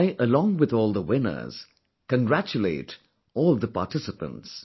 I along with all the winners, congratulate all the participants